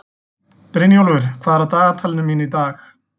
Brynjólfur, hvað er á dagatalinu mínu í dag?